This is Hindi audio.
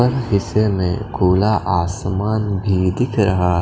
हिस्से में खुला आसमान भी दिखा रहा --